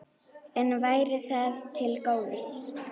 En væri það til góðs?